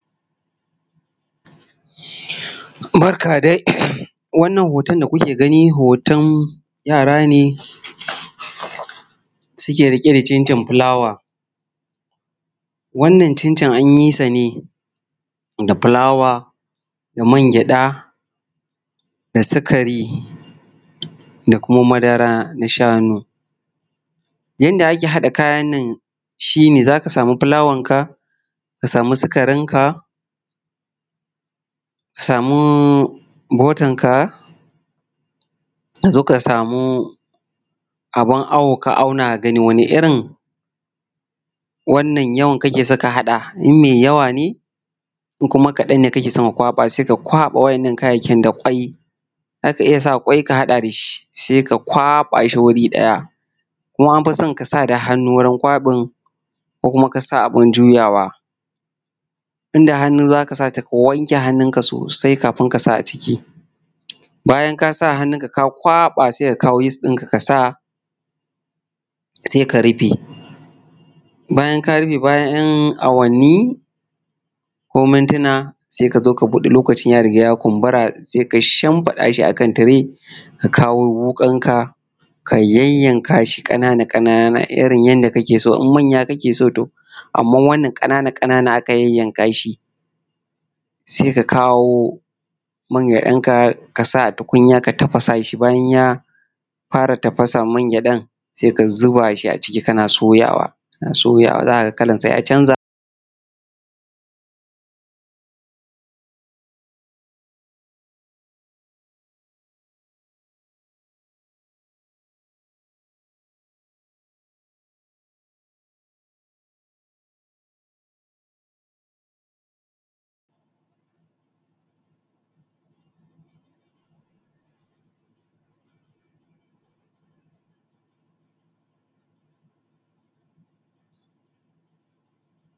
Barka dai wannan hoton da kuke gani hoton yara ne suke rike da cincin fulawa. Wannan cincin an yi sa ne da fula da man gyaɗa da sikari da kuma madara na shanu, sai ki haɗa kayan nan shi ne za ka sama fukawarka da sikarinka ka samu butter naka ka samu abun awo ka auna ka gani, wane irin yawa ka so ka haɗa idan mai yawa ne idan kuma kaɗan ne sai ka kwaɓa waɗannan kayayyakin Za ka iya sa kwai ka haɗa da shi, sai ka kwaɓa shi wuri ɗaya. Kuma an fi son ka sa hannu wurin kwaɓin ko kuma ka sa abun jiyawa idan da hannu za ka sa sainka wanke hannunka sosai kafin kasa hannunka a ciki. Bayana ka sa ka kwaɓa sai ka ɗau yis ɗinka ka sa a ciki sai ka rufe. Bayan 'yan awanni ko mintima lokacin ya riga ya kunburi sai ka shinfiɗa shi ka kawo wuƙan ka ya yayyanka shi, ƙana-ƙana yanda kake so idan manya kake so, amma wannan ƙana-ƙana aka yayyanka shi sai ka kawo man gyaɗanka bayan ya fara tafasa a man gyaɗan sai ka zuba a shi a ciki kana zubawa kana soyawa sai a canza........